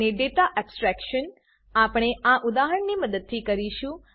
data એબ્સ્ટ્રેક્શનનાં આપણે આ ઉદાહરણની મદદથી કરીશું